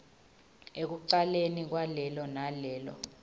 ekucaleni kwalelo nalelo